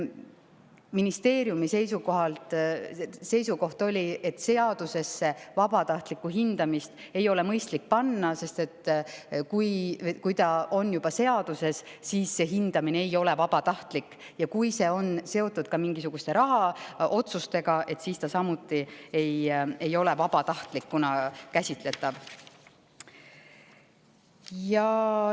Ministeeriumi seisukoht oli, et seadusesse ei ole mõistlik vabatahtlikku hindamist panna, sest kui see on juba seaduses kirjas, ei ole hindamine enam vabatahtlik, ja kui see on seotud ka mingisuguste rahaotsustega, ei ole see samuti vabatahtlikuna käsitletav.